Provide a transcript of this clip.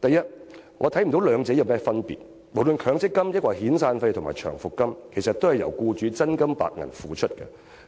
第一，我看不到兩者有何分別，無論是強積金，還是遣散費和長期服務金，其實都是由僱主真金白銀付款，